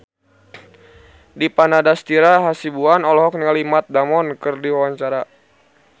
Dipa Nandastyra Hasibuan olohok ningali Matt Damon keur diwawancara